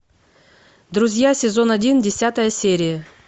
друзья сезон один десятая серия